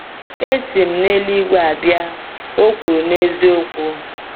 “Esi m n’eluigwe abịa,” o kwuru n’eziokwu.